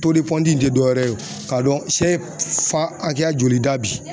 in tɛ dɔwɛrɛ ye k'a dɔn sɛ ye fan hakɛya joli da bi.